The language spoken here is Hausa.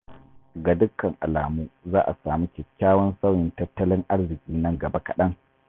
Ga dukkan alamu za a sami kyakkyawan sauyin tattalin arziki nan gaba kaɗan.